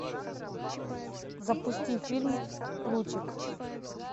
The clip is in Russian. запусти фильм лучик